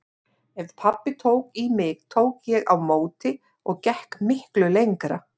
Ef pabbi tók í mig tók ég á móti og gekk miklu lengra.